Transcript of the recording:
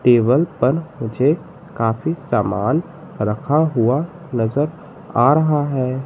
Table पर मुझे काफी सामान रखा हुआ नजर आ रहा है।